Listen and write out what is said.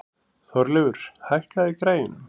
Þorleifur, hækkaðu í græjunum.